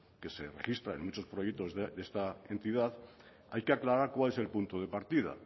que se registran en muchos proyectos de esta entidad hay que aclarar cuál es el punto de partida